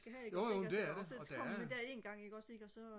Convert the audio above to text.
jo jo det er det og der er